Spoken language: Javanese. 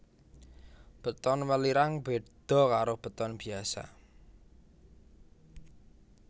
Beton welirang beda karo beton biasa